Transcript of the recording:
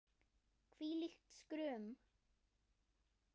Hvílíkt skrum!